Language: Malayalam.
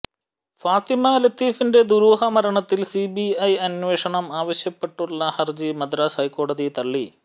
ഫാത്തിമ ലത്തീഫിന്റെ ദുരൂഹ മരണത്തിൽ സിബിഐ അന്വേഷണം ആവശ്യപ്പെട്ടുള്ള ഹർജി മദ്രാസ് ഹൈക്കോടതി തള്ളി